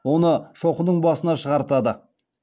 оны шоқының басына шығартады